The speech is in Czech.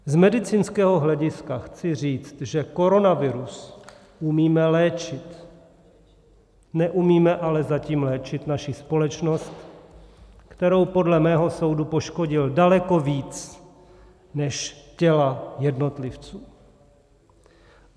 Z medicínského hlediska chci říci, že koronavirus umíme léčit, neumíme ale zatím léčit naši společnost, kterou podle mého soudu poškodil daleko víc než těla jednotlivců.